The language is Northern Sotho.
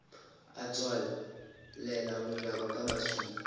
a tswalela mojako ka maswika